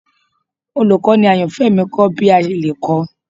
Olukọni ayanfẹ mi kọ mi bi a ṣe le kọ